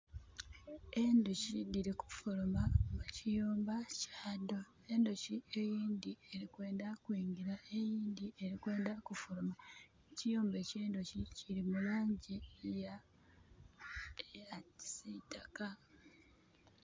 Endhuki dhiri kufuluma mu kiyumba kya dho, endhuki eyindhi eri kwendha kwingira eyindhi eri kwendha kufuluma. Ekiyumba ekyendhuki kili mu langi eya kisitaka.